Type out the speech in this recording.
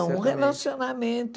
Certamente. Um relacionamento.